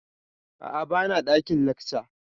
Aa, ba na ɗakin lacca